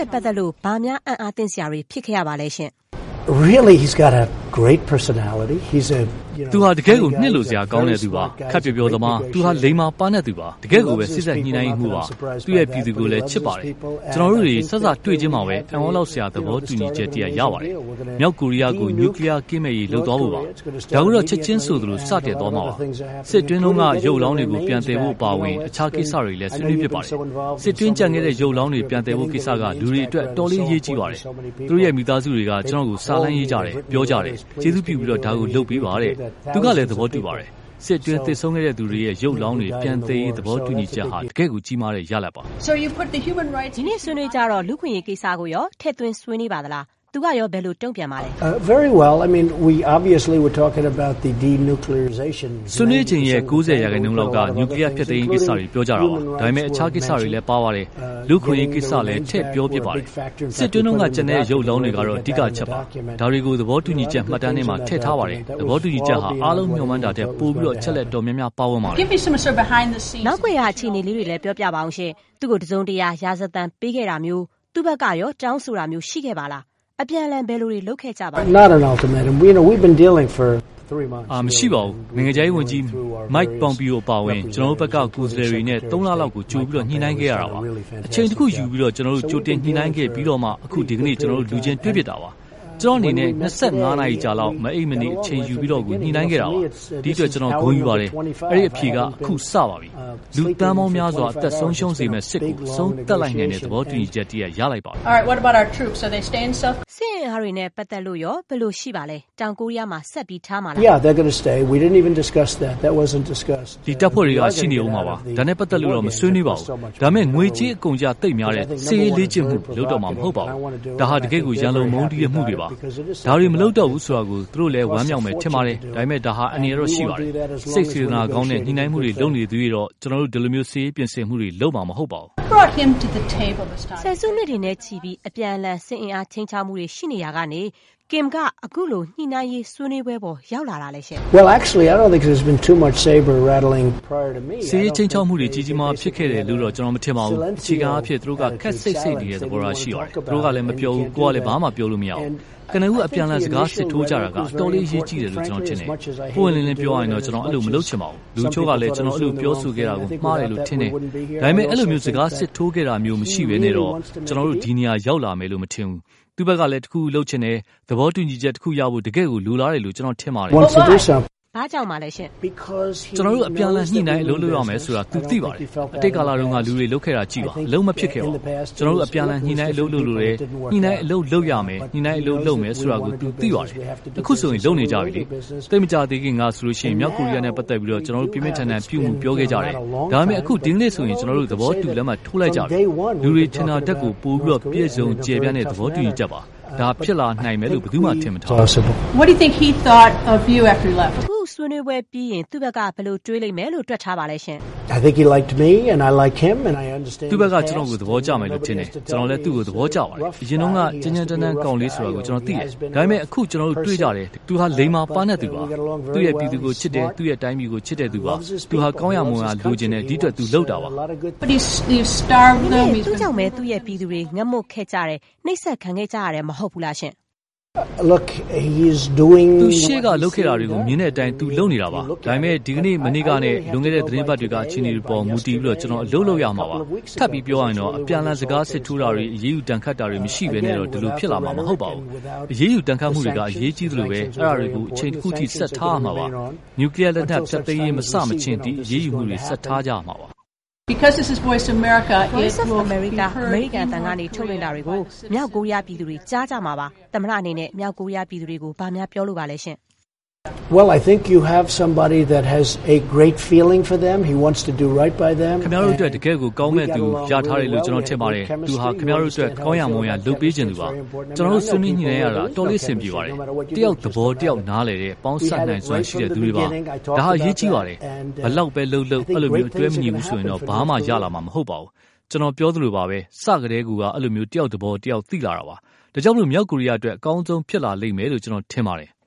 ဲ့ပတ်သက်လို့ ဘာများ အံအားသင့်စရာတွေ ဖြစ်ခဲ့ရသလဲ။ သူဟာ တကယ့်ကို နှစ်လိုစရာကောင်းတဲ့သူပါ။ ခပ်ပျော်ပျော်သမား၊ လိမ္မာ ပါးနပ်သူပါ။ တကယ့်ကိုပဲ စေ့စပ်ညှိုနှိုင်းရေးမှူးပါ။ သူ့ပြည်သူကိုလည်း ချစ်ပါတယ်။ ကျနော်တို့တွေစ တွေ့တွေ့ချင်းမှာပဲ အံသြလောက်စရာ သဘောတူညီချက်ရပါတယ်။ မြောက်ကိုရီယားကို န ျူကလီယားကင်းမဲ့ရေး လုပ်သွားဖို့ပါ။ ဒါကိုတော့ ချက်ခြင်းဆိုသလို စတင်သွားမှာပါ။ စစ်အတွင်းက ရုပ်အလောင်းတွေကို ပြန်သယ်ဖို့ အပါအဝင် အခြားကိစ္စတွေလည်း ဆွေးနွေးဖြစ်ပါတယ်။ စစ်အတွင်းကျန်ခဲ့တဲ့ ရုပ်အလောင်းတွေ ပြန်သယ်ဖို့ကိစ္စက လူတွေအတွက် အတော်အရေးကြီးပါတယ်။ သူတို့မိသားစုတွေက ကျနော်ကို စာလှမ်းရေးကြတယ် ပြောကြတယ်၊ ကျေးဇူးပြုပြီး ဒါကို လုပ်ပေးပါတဲ့။ သူကလည်း သဘောတူပါတယ်။ စစ်အတွင်း သေဆုံးခဲ့တဲ့သူတွေရဲ့ ရုပ်အလောင်းတွေ ပြန်သယ်ရေး သဘောတူညီချက်ဟာ တကယ့်ကိုကြီးမားတဲ့ ရလဒ်ပါ။ ဒီနေ့ ဆွေးနွေးတော့ လူ့အခွင့်အရေးကိစ္စကိုရော ထည့်သွင်းဆွေးနွေးပါသလား။ သူကရော ဘယ်လို တုံ့ပြန်ပါသလဲ။ ဆွေးနွေးချိန်ရဲ့ ၉၀ ရာခိုင်နှုန်းလောက်က န ျူကလီယားဖျက်သိမ်းရေးကိစ္စတွေ ပြောကြတာပါ။ ဒါပေမယ့် အခြားကိစ္စတွေလည်း ပါပါတယ်။ လူ့အခွင့်အရေးကိစ္စလည်း ထည့်ပြောပါတယ်။ စစ်တွင်းက ကျန်တဲ့ရုပ်အလောင်းတွေကတော့ အဓိက အချက်ပေါ့။ ဒါတွေကို သဘောတူညီချက်မှတ်တမ်းထဲမှာ ထည့်ထားပါတယ်။ သဘောတူညီချက်ဟာ အားလုံးမျှော်မှန်းထားတာထက်ကို ပိုပြီး၊ အချက်အလက်အတော်များများကို ပါဝင်ပါတယ်။ နောက်ကွယ်က အခြေအနေလေးတွေ ပြောပါဦး၊ သူ့ကို တစုံတရာ ရာဇသံပေးခဲ့တာမျိုး သူဖက်ကရော တောင်းဆိုတာမျိုး ရှိခဲ့ပါလား။ အပြန်အလှန် ဘယ်လိုတွေ လုပ်ခဲ့ကြသလဲ။ မရှိပါဘူး။ နိုင်ငံခြားရေးဝန်ကြီး Mike Pompeo အပါအဝင် ကျနော်တို့ဖက်က ကိုယ်စားလှယ်တွေနဲ့ သုံးလလောက်ကို ကြိုပြီး ညှိုနှိုင်းခဲ့တာပါ။ အချိန်တခုယူပြီး ကျနော်တို့ ကြိုတင်ညှိုနှိုင်းခဲ့ပြီးမှ အခု ဒီကနေ့ ကျနောတို့လူချင်း တွေ့ဖြစ်ကြတာပါ။ ကျနော့်အနေနဲ့ ၂၅ နာရီကြာ မအိပ်မနေ အချိန်ယူပြီးတော့ကို ညှိုနှိုင်းခဲ့တာပါ။ ဒီအတွက် ကျနော် ဂုဏ်ယူပါတယ်။ အဲဒီအဖြေက အခု စပါပြီ။ လူသန်းပေါင်းများစွာ အသက် ဆုံးရှုံးစေမယ့် စစ်ကို အဆုံးသတ်လိုက်နိုင်တဲ့ သဘောတူညီချက်တရပ် ရလိုက်ပါပြီ။ စစ်အင်အားတွေနဲ့ပတ်သက်လို့ရော ဘယ်လို ရှိပါလဲ၊ တောင်ကိုရီးယားမှာ ဆက်ထားမှာလား။ သူတို့ ရှိနေဦးမှာပါ။ ဒါနဲ့ပတ်သက်လို့ မဆွေးနွေးပါဘူး။ ဒါပေမယ့် ငွေကြေးအကုန်အကျသိပ်များတဲ့ စစ်ရေးလေ့ကျင်မှုတွေကို လုပ်တော့မှာမဟုတ်ပါဘူး။ ဒါဟာ တကယ့်ကို ရန်လိုမုန်းတီးမှုတွေပါ။ ဒါတွေ မလုပ်တော့ဘူးဆိုတာကို သူတို့လည်း ဝမ်းမြောက်မယ်ထင်ပါတယ်။ ဒါပေမယ့် ဒါဟာ အန္တရာယ်တော့ရှိပါတယ်။ စိတ်စေတနာကောင်းနဲ့ ညှိုနှိုင်းမှုတွေလုပ်နေသရွေ့တော့ ကျနော်တို့ဒီလို စစ်ရေးပြင်ဆင်မှုတွေ လုပ်မှာမဟုတ်ပါဘူး။ ဆယ်စုနှစ်တွေနဲ့ချီပြီး အပြန်အလှန် စစ်အင်အားခြိမ်းခြောက်မှုတွေရှိရာကနေ၊ ဘယ်လိုဖြစ်လို့ Kim အခုလို ညှိုနှိုင်းရေးစားပွဲပေါ်ရောက်လာတာလဲ။ စစ်ရေးခြိမ်းခြောက်မှုတွေ ကြီးကြီးမားမားဖြစ်ခဲ့တယ်လို့တော့ ကျနော်မထင်ဘူး။ အခြေခံအားဖြင့် သူတို့က ခပ်ဆိတ်ဆိတ်နေတဲ့ သဘောထားရှိပါတယ်။ သူတို့ကလည်း မပြောဘူး၊ ကိုယ်လည်း ဘာမှ ပြောလို့မရဘူး။ ကနဦး အပြန်အလှန်စကားစစ်ထိုးကြတာက အတော်လေး အရေးကြီးတယ်လို့ ကျနော်ထင်တယ်။ ပွင့်ပွင့်လင်းလင်းပြောရရင် ကျနော်အဲလို မလုပ်ချင်ဘူး။ လူအချို့ကလည်း ကျနော် အဲလို ပြောဆိုခဲ့တာကို မှားတယ်လို့ ထင်တယ်။ ဒါပေမယ့် အဲဒီလို စကားစစ်ထိုးတာမျိုးမရှိပဲနဲ့တော့ ကျနော်တို့ ဒီနေရာရောက်လာမယ်လို့ မထင်ဘူး။ သူ့ဖက်ကလည်း တခုခုလုပ်ချင်တယ်၊ သဘောတူညီချက်တခုရဖို့ တကယ့်ကို လိုလားတယ်လို့ ကျနော်ထင်တယ်။ ဘာကြောင့်ပါလဲ ကျနော်တို့အပြန်အလှန်ညှိုနှိုင်း အလုပ်လုပ်ရမယ်ဆိုတာ သူ သိပါတယ်။ အတိတ်ကာလတုန်းက လူတွေ လုပ်ခဲ့တာကြည့်ပါ၊ အလုပ်မဖြစ်ခဲ့ပါဘူး။ ကျနော်တို့ အပြန်အလှန်ညှိုနှိုင်းအလုပ်လုပ်လိုတယ်၊ ညှိုနှိုင်းအလုပ်လုပ်ရမယ်၊ ညှိုနှိုင်းအလုပ်လုပ်မယ်ဆိုတာကို သူ သိပါတယ်။ သိပ်မကြာသေးခင်ကဆိုရင် မြောက်ကိုရီယားနဲ့ပတ်သက်လို့ ကျနော်တို့ပြင်းပြင်းထန်ထန်ပြုမူပြောခဲ့ကြတယ်။ ဒါပေမယ့် အခု ဒီနေ့ဆိုရင် ကျနော်တို့ သဘောတူလက်မှတ်ထိုးလိုက်ကြပြီ။ လူတွေ ထင်ထားတာထက်ကို ပိုပြီး ပြည့်စုံကျယ်ပြန့်တဲ့ သဘောတူညီချက်ပါ။ ဒါ ဖြစ်လာနိုင်မယ်လို့ ဘယ်သူမှ ထင်မထားဘူး။ အခု အစည်းအဝေးပြီးရင် သူဖက်က ဘယ်လို တွေးမယ်လို့ တွက်ထားပါလဲ။ သူဖက်က ကျနော်ကို သဘောကျမယ်လို့ ထင်တယ်၊ ကျနော်လည်း သူကို သဘောကျတယ်။ အရင်တုန်းက ကြမ်းကြမ်းတမ်းတမ်းကောင်လေးဆိုတာကို ကျနော် သိတယ်။ ဒါပေမယ့် အခု ကျနော်တို့ တွေ့ကြတယ်။ သူဟာ လိမ္မာ ပါးနပ်သူပါ။ သူ့ ပြည်သူကို ချစ်တယ်၊ သူ့တိုင်းပြည်ကို ချစ်တဲ့သူပါ။ သူလည်း ကောင်းရာမွန်ရာလိုချင်တယ်၊ ဒီအတွက် ဒီလို လုပ်တာပါ။ ဒါပေမယ့် သူ့ကြောင့် သူ့ပြည်သူတွေ ငတ်မွတ်ခဲ့ကြတယ်၊ နှိပ်စက်ခံခဲ့ကြရတယ်မဟုတ်လား။ သူ့ရှေ့လုပ်ခဲ့တာတွေကို မြင်တဲ့အတိုင်း သူလုပ်နေတာပါ။ ဒါပေမယ့် ဒီကနေ့ မနေ့ကနဲ့ လွန်ခဲ့တဲ့ သီတင်းပတ်တွေက အခြေအနေတွေပေါ်တည်ပြီး ကျနော် အလုပ်လုပ်ရမှာပါ။ ထပ်ပြောရရင်တော့ အပြန်အလှန်စကားစစ်ထိုးတာတွေ အရေးယူဒဏ်ခတ်တာတွေမရှိပဲနဲ့တော့ ဒီလိုဖြစ်လာမှာမဟုတ်ပါဘူး။ အရေးယူဒဏ်ခတ်မှုတွေက အရေးကြီးသလို၊ အဲဒါတွေကို အချိန်တခုအထိ ဆက်ထားရဦးမှာပါ။ နူကလိယားလက်နက်ဖျက်သိမ်းရေး မစမချင်း ဒီ အရေးယူမှုတွေ ဆက်ထားရမှာပါ။ Voice of America အမေရိကန်အသံက လွှင့်ထုတ်တာတွေကို မြောက်ကိုရီယားပြည်သူတွေ ကြားကြမှာပါ။ သမတအနေနဲ့ မြောက်ကိုရီယားပြည်သူတွေကို ဘာပြောလိုပါသလဲ။ ခင်ဗျားတို့အတွက် တကယ့်ကိုကောင်းမွန်မဲ့သူ ရထားတယ်လို့ ကျနော်ထင်တယ်။ သူဟာ ခင်ဗျားတို့အတွက် ကောင်းရာမွန်ရာလုပ်ပေးချင်သူပါ။ ကျနော်တို့ ဆွေးနွေးညှိုနှိုင်းရတာ အတော်အဆင်ပြေပါတယ်။ ကျနော်တို့ဟာ တယောက်သဘော တယောက်နားလည်တဲ့ ပေါင်းစပ်နိုင်စွမ်းရှိတဲ့သူတွေပါ။ ဒါဟာအရေးကြီးပါတယ်။ ဘယ်လောက် လုပ်လုပ် အဲလို အတွဲမညီဘူးဆိုရင်တော့ ဘာမှ ရလာမှမဟုတ်ပါဘူး။ ကျနော် ပြောသလိုပဲ စ ကတည်းကကို အဲလိုမျိုး တယောက်သဘော တယောက် သိလာတာပါ။ ဒါကြောင့် မြောက်ကိုရီယားအတွက် အကောင်းဆုံးဖြစ်လာလိမ့်မယို့ ကျနော်ထင်ပါတယ်။